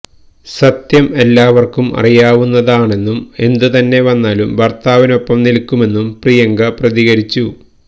സത്യം എല്ലാവര്ക്കും അറിയാവുന്നതാണെന്നും എന്തുതന്നെ വന്നാലും ഭര്ത്താവിനൊപ്പം നില്ക്കുമെന്നും പ്രിയങ്ക പ്രതികരിച്ചു